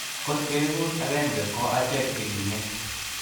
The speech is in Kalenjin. kot keegun akenge ko achek che kimen